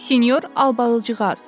Sinyor Albalıcığaz.